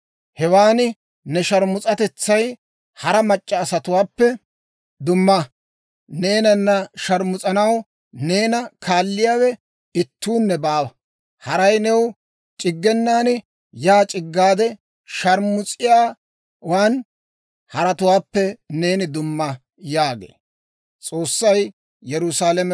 Hewan ne sharmus'atetsay hara mac'c'a asatuwaappe dumma; neenana sharmus'anaw neena kaalliyaawe ittuunne baawa. Haray new c'iggenan, yaa c'iggaade sharmus'iyaawan, haratuwaappe neeni dumma» yaagee.